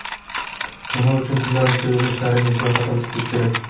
Nima uchun kundalik sevimli ishlaringiz ro‘yxatini tuzish kerak?.